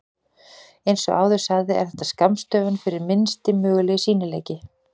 Eins og áður sagði er þetta skammstöfun fyrir Minnsti mögulegi sýnileiki.